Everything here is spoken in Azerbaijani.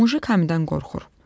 Mujik hamıdan qorxur.